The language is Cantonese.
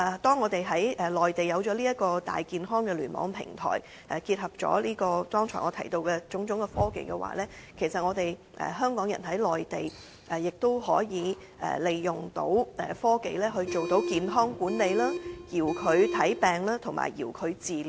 當我們在內地有了這個"大健康"的聯網平台，結合了剛才我提到的種種科技，其實香港人在內地亦都可以利用科技來進行健康管理、遙距診症及遙距治療。